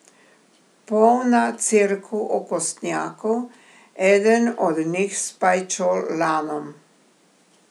Polna cerkev okostnjakov, eden od njih s pajčolanom.